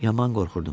Yaman qorxurdum.